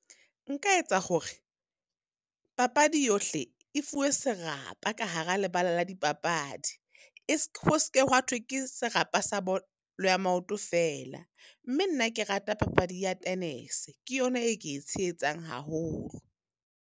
Nka etsa hore papadi yohle e fuwe serapa ka hara lebala la dipapadi. E , ho seke wa thwe ke serapa sa bolo ya maoto fela. Mme nna ke rata papadi ya tennis-e, ke yona e ke e tshehetsang haholo.